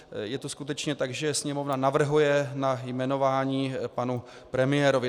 Je to skutečně tak, že Sněmovna navrhuje na jmenování panu premiérovi.